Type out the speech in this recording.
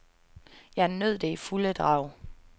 Jeg nød det i fulde drag.